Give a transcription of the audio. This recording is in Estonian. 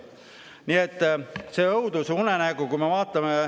Nii et see on õudusunenägu.